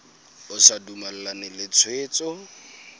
o sa dumalane le tshwetso